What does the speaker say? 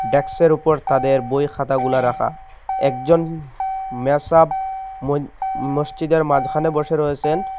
ড্যাক্সের উপর তাদের বইখাতাগুলা রাখা একজন মেসাব মই মসজিদের মাঝখানে বসে রয়েছেন।